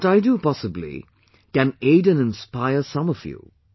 What I do, possibly, can aid and inspire some of you